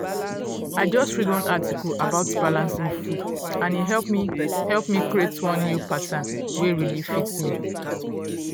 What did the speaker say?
i just read one article about balancing food and e help me help me create one new pattern wey really fit me.